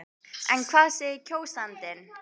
En hvað segir kjósandinn?